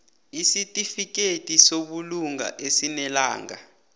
isitifikedi sobulunga esinelanga